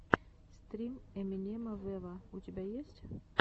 стрим эминема вево у тебя есть